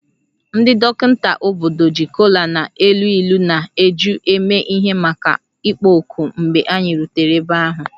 Ndị dọkịta obodo ji kola na-elu ilu na eju eme ihe maka ịkpọ oku mgbe anyị rutere ebe ahụ